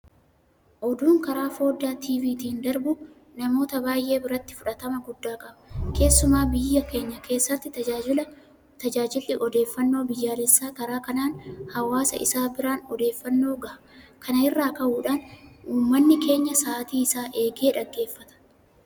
Oduun karaa foddaa TVtiin darbu namoota baay'ee biratti fudhatama guddaa qaba. Keessumaa biyya keenya keessatti tajaajilli odeeffannoo biyyaalessaa karaa kanaan hawaasa isaa biraan odeeffannoo gaha. Kana irraa ka'uudhaan uummanni keenya sa'aatii isaa eegee dhaggeeffata.